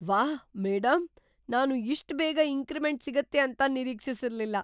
ವಾಹ್, ಮೇಡಂ! ನಾನು ಇಷ್ಟ್ ಬೇಗ ಇಂಕ್ರಿಮೆಂಟ್‌ ಸಿಗತ್ತೆ ಅಂತ ನಿರೀಕ್ಷಿಸಿರ್ಲಿಲ್ಲ!